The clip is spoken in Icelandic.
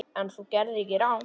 En þú gerðir ekkert rangt.